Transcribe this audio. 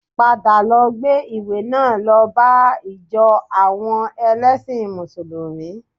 Padà lọ gbé ìwé náà lọ bá ìjọ àwọn ẹlẹ́sìn mùsùlùmí